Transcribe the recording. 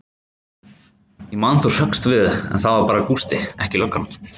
Ég man þú hrökkst við, en það var bara Gústi, ekki löggan.